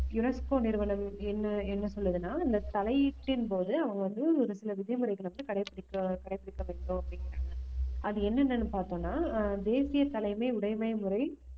unesco நிறுவனம் என்ன என்ன சொல்லுதுன்னா இந்த தலையீட்டின் போது அவங்க வந்து ஒரு சில விதிமுறைகளை வந்து கடைபிடிக்க கடைபிடிக்க வேண்டும் அப்படிங்கிறாங்க அது என்னென்னன்னு பார்த்தோம்ன்னா ஆஹ் தேசிய தலைமை உடைமை முறை